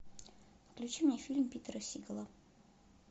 включи мне фильм питера сигала